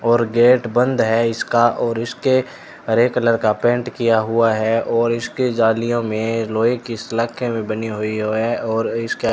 और गेट बंद है इसका और इसके हरे कलर का पेंट किया हुआ है और इसके जालियो मे लोहे ही सलाखे भी बनी हुई है।